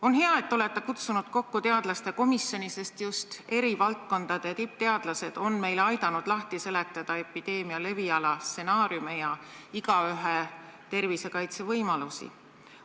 On hea, et te olete kutsunud kokku teadlaste komisjoni, sest just eri valdkondade tippteadlased on meil aidanud lahti seletada epideemia leviala, stsenaariume ja igaühe tervisekaitse võimalusi.